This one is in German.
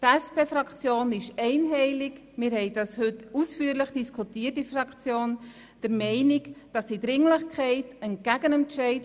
Die SP-JUSO-PSA-Fraktion ist einstimmig der Meinung, dass entgegen dem Entscheid des Büros Dringlichkeit zu gewähren ist.